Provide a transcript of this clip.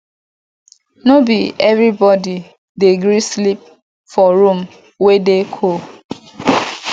no be everybodi dey gree sleep for room wey dey cold